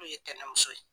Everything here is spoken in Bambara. N'u ye tɛnɛmuso ye